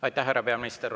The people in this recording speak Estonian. Aitäh, härra peaminister!